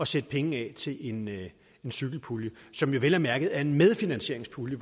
sætte penge af til en cykelpulje som jo vel at mærke er en medfinansieringspulje